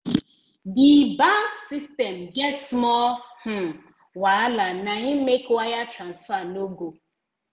the bank system get small um wahala na im make wire transfer no go